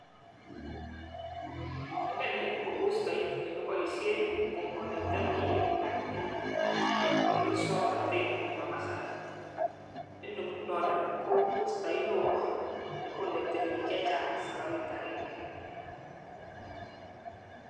Inoni ko bustai nekiboishen nii kekonekteni bik kii ak in ak muswoknotet nebo kasari, noni ngunon nii ko bustai neo nekonekteni bik chechang sabarit agenge.